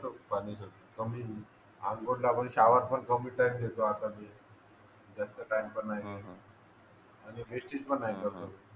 अंघोळीला पण शावर पण कमी टाईम घेतो आता मी जास्त टाईम पण नाही घेत आणि वेस्टेज पण नाही करत